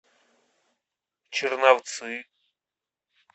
черновцы